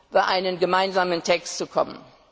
über einen gemeinsamen Text zu kommen.